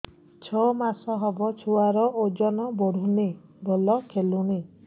ଛଅ ମାସ ହବ ଛୁଆର ଓଜନ ବଢୁନି ଭଲ ଖେଳୁନି